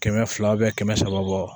Kɛmɛ fila kɛmɛ saba bɔ